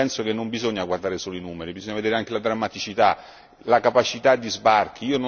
Io penso che non bisogna guardare solo i numeri, bisogna vedere anche la drammaticità, la capacità di sbarchi.